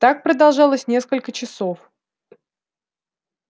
так продолжалось несколько часов